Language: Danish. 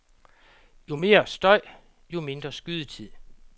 Jo mere støj, jo mindre skydetid.